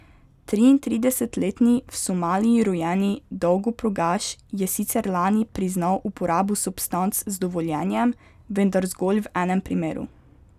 Triintridesetletni v Somaliji rojeni dolgoprogaš je sicer lani priznal uporabo substanc z dovoljenjem, vendar zgolj v enem primeru.